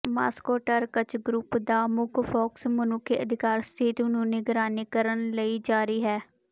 Moscow ਟਰ੍ਕ੍ਚ group ਦਾ ਮੁੱਖ ਫੋਕਸ ਮਨੁੱਖੀ ਅਧਿਕਾਰ ਸਥਿਤੀ ਨੂੰ ਨਿਗਰਾਨੀ ਕਰਨ ਲਈ ਜਾਰੀ ਹੈ